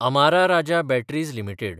Amara Raja batteries limited